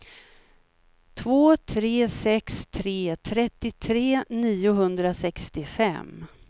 två tre sex tre trettiotre niohundrasextiofem